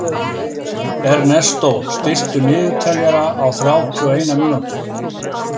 Ernestó, stilltu niðurteljara á þrjátíu og eina mínútur.